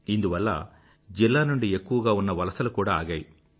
ఇందువల్ల జిల్లా నుండి ఎక్కువగా ఉన్న వలసలు కూడా ఆగాయి